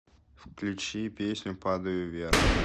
включи песню падаю вверх